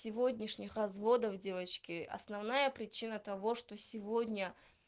сегодняшних разводов девочки основная причина того что сегодня